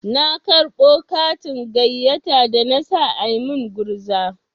Na karɓo katin gayyata da na sa a min gurza.